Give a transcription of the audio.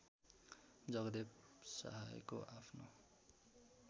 जगदेव सहायको आफ्नो